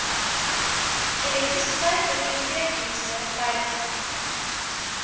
elektrisiteit biblioteekdienste veiligheid